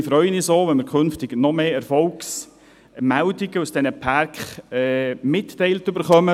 Wir freuen uns auch, wenn wir künftig noch mehr Erfolgsmeldungen aus den Pärken mitgeteilt erhalten.